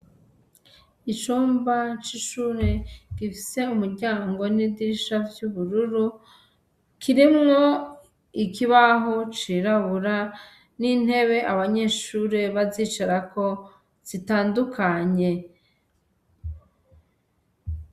Icumba c'ishure, gifise umuryango n'idirisha vy'ubururu, kirimwo ikibaho cirabura n'intebe abanyeshure bazicarako zitandukanye.